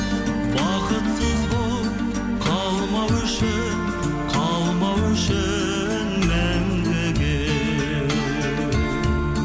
бақытсыз болып қалмау үшін қалмау үшін мәңгіге